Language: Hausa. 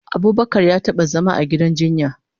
Abubakar ya taba zama a gidan jinya